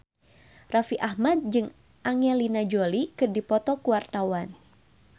Raffi Ahmad jeung Angelina Jolie keur dipoto ku wartawan